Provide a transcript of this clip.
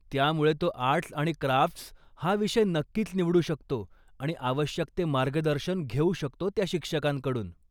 त्यामुळे, तो आर्ट्स आणि क्राफ्ट्स हा विषय नक्कीच निवडू शकतो आणि आवश्यक ते मार्गदर्शन घेऊ शकतो त्या शिक्षकांकडून.